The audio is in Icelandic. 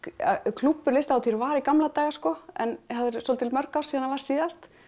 klúbbur Listahátíðar var í gamla daga sko en það eru svolítið mörg ár síðan þar var síðast